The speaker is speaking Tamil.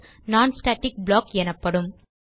non ஸ்டாட்டிக் ப்ளாக் ஆகும்